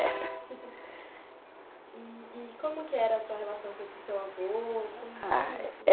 É... E como que era a sua relação com esse seu avô...? ah...